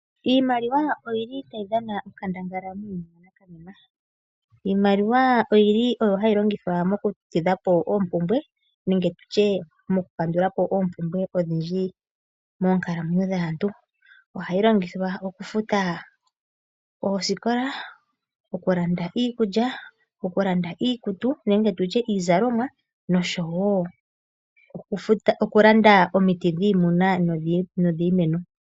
Iimaliwa oyi li hayi dhana onkandangala muuyuni wa nakanena. Iimaliwa oyi li oyo hayi longithwa mokutidha po oompumbwe nenge tu tye mokukandula po oompumbwe odhindji moonkalamwenyo dhaantu. Ohayi longithwa okufuta oosikola, okulanda iikulya, okulanda iikutu nenge tu tye iizalomwa nosho wo okulanda omiti dhiimuna nodhiimeno.